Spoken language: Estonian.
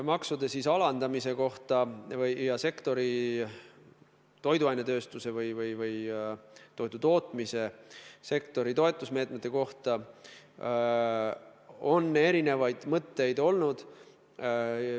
Maksude alandamise kohta ja toiduainetööstuse või toidutootmise sektori toetusmeetmete kohta on erinevaid mõtteid olnud.